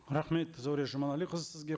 рахмет зәуре жұманәліқізі сізге